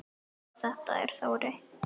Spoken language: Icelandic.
Já, þetta er Þórey.